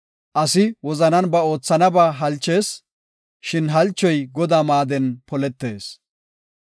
Asi wozanan ba oothanaba halchees; shin halchoy Godaa maaden poletees.